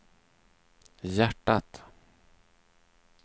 hjärtat